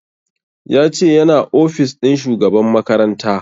Ya ce yana ofis ɗin shugaban makaranta